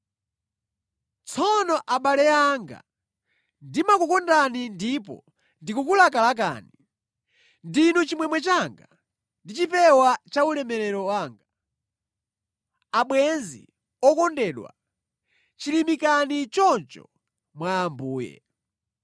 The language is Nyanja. Tsono abale anga, ndimakukondani ndipo ndikukulakalakani. Ndinu chimwemwe changa ndi chipewa cha ulemerero wanga. Abwenzi okondedwa, chilimikani choncho mwa Ambuye.